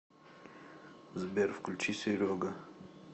сбер включи серега